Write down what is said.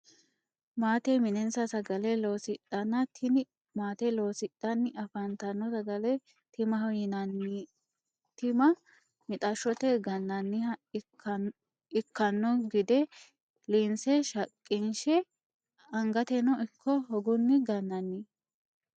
Maate mine'nisa sagale loosidhanna, tini maate loosidhanni afanitano sagale timaho yinanni, tima mixashote ga'naniha ikkanno gide liinse shaqi'nshe angatenno ikko hogunni ga'nanni